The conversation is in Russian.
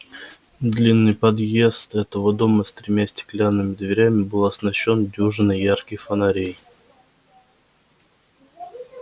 длинный подъезд этого дома с тремя стеклянными дверями был оснащён дюжиной ярких фонарей